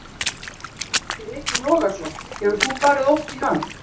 Breki Logason: Hefur þú farið oft í hann?